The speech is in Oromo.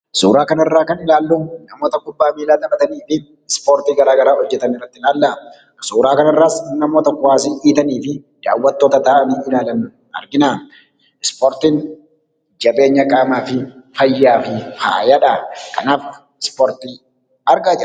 Suuraa kanarraa kanarraa kan ilaallu namoota kubbaa miillaa taphatanii fi Ispoortii garagaraa hojjetan ilaalla. Suuraa kanarraas namoota kubbaz dhidhiitanii fi daawwattoota taa'anii ilaalan argina. Ispoortiin jabeenya qaamaafi fayyaa fi faayadha. Kanaaf Ispoortii argaa jirra.